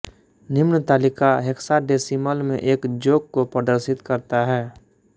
निम्न तालिका हेक्साडेसिमल में एक जोक को प्रदर्शित करता है